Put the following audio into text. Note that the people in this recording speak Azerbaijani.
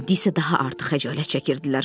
İndi isə daha artıq həyəcan çəkirdilər.